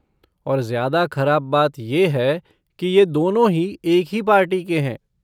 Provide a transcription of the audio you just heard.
और ज्यादा खराब बात ये है कि ये दोनों ही एक ही पार्टी के हैं।